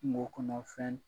Mɔgɔ kɔnɔ fɛn